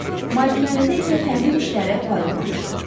Malikanədə isə təmir işləri aparılmamışdı.